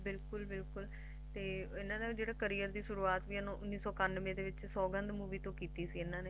ਬਿਲਕੁਲ-ਬਿਲਕੁਲ ਤੇ ਇਹਨਾ ਦਾ ਵੀ ਜੇੜਾ Career ਦੀ ਸ਼ੁਰੂਵਾਤ ਸੀ ਉਂਣੀਸ ਸੌ ਇਕਾਨਵੇਂ ਦੇ ਵਿਚ ਸੌਗੰਧ movie ਤੋਂ ਕਿੱਤੀ ਸੀ ਇਹਨਾ ਨੇ